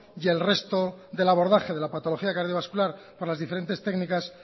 y el resto del abordaje de la patología cardiovascular para las diferentes técnicas